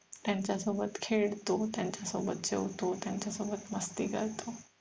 त्यांच्या सोबत खेळतो त्यांच्या सोबत जेवतो त्यांच्या सोबत मस्ती करतो